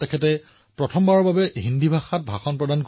ইয়াত মই ৰাষ্ট্ৰসমূহৰ শক্তি আৰু গুৰুত্বৰ বিষয়ে চিন্তা কৰা নাই